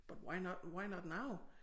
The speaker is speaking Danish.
But why not why not now?